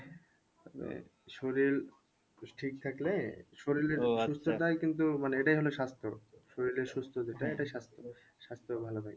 মানে শরীর ঠিক থাকলে সুস্থটাই কিন্তু মানে এটাই হলো স্বাস্থ্য শরীরের সুস্থ যেটা এটাই স্বাস্থ্য ভালো থাকে।